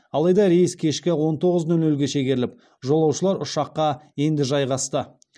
алайда рейс кешкі он тоғыз нөл нөлге шегеріліп жолаушылар ұшаққа енді жайғасты